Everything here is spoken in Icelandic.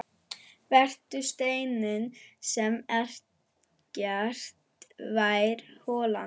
Vertu steinninn sem ekkert fær holað.